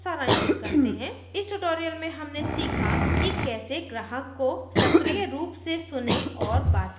इसको सारांशित करते हैं इस ट्यूटोरियल में हमने सीखा कि कैसे ग्राहक को सक्रीय रूप से सुनें और बात करें